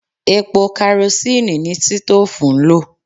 Epo karosíìnì ni sítóòfù ń lò